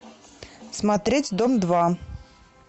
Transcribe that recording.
смотреть дом два